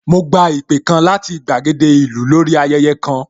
Mo gba ìpè kan láti gbàgede ìlú lórí ayẹyẹ kan